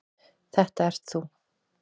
Þetta ert þú.